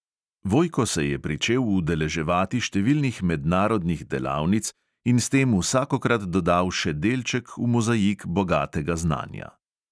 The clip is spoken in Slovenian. Vojko se je pričel udeleževati številnih mednarodnih delavnic in s tem vsakokrat dodal še delček v mozaik bogatega znanja.